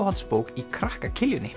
uppáhaldsbók í krakka